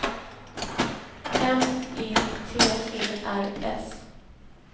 M E T E R S